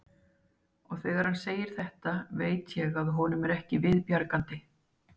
Og þegar hann segir þetta veit ég að honum er ekki við bjargandi.